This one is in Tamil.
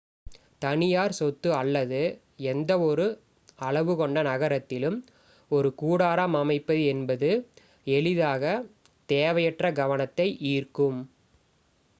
தனியார் சொத்து அல்லது எந்த ஒரு அளவு கொண்ட நகரத்திலும் ஒரு கூடாரம் அமைப்பது என்பது எளிதாக தேவையற்ற கவனத்தை ஈர்க்கும்